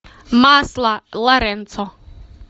масло лоренцо